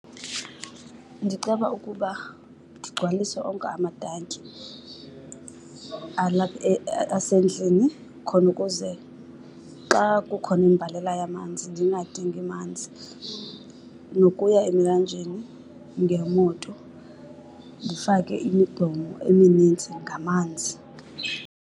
Ndiceba ukuba ndigcwalise onke amatanki asendlini khona ukuze xa kukhona imbalela yamanzi ndingadingi manzi. Nokuya emlanjeni ngemoto ndifake imigqomo eminintsi ngamanzi.